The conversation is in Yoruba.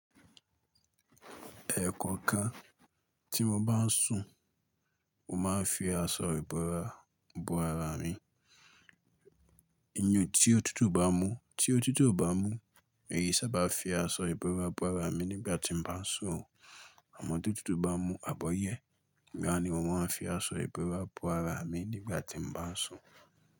Ẹ̀ẹ̀kọ̀kan tí mo bá sùn, mo máa ń fi aṣọ ìbora bo ara mi. Iyùn tí ó tútù bá mú, tí ó tútù o bá mú, èyí sá bá fi aṣọ ìbora bo ara mi nígbà tí mo bá sùn. Àmọ́ tí òtútù bá mú àbọ̀yẹ́, ìgbà yen ni mo máa ń fi aṣọ ìbora bo ara mi nígbà tí mo bá sùn?